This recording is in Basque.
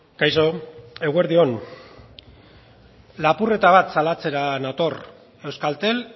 kaixo eguerdi on lapurreta bat salatzera nator euskaltel